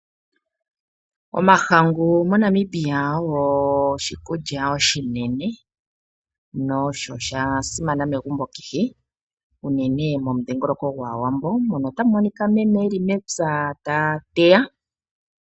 Omahangu moNamibia ogo oshikulya oshinene no sho sha simana megumbo kehe, unene momudhingoloko gAawambo. Mono ota mu monika meme e li mepya ta teya.